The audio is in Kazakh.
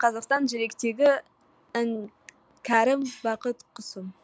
қазақстан жүректегі іңкәрім бақыт құсым